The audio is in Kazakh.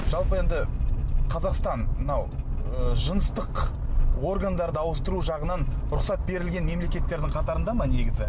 жалпы енді қазақстан мынау ы жыныстық органдарды ауыстыру жағынан рұхсат берілген мемлекеттердің қатарында ма негізі